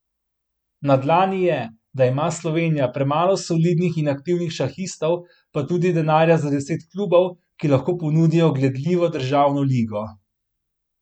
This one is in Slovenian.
Na dlani je, da ima Slovenija premalo solidnih in aktivnih šahistov pa tudi denarja za deset klubov, ki lahko ponudijo gledljivo državno ligo.